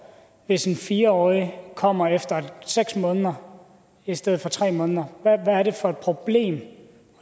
hvis en fire årig kommer efter seks måneder i stedet for efter tre måneder hvad er det for et problem